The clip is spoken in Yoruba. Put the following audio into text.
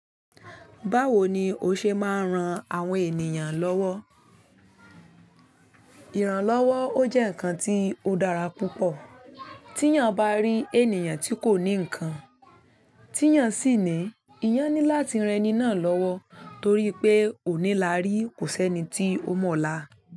Báwo ni o ṣe máa ń ran àwọn ènìyàn lọ́wọ́? Ìrànlọ́wọ́ ó jẹ́ ǹkan tí ó dára púpọ̀. Tí èèyàn bá rí ènìyàn tí kò ní ǹkan, tí èèyàn sì ní, èèyàn ní láti ran ẹni náà lọ́wọ́ torí pé onílàárí kò sẹ́ni tí ó mọ̀la.